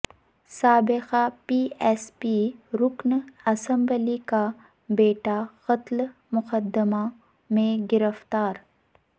سابق B S P رکن اسمبلی کا بیٹا قتل مقدمہ میں گرفتار